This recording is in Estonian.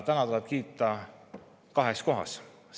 Täna tuleb teid kiita kahe.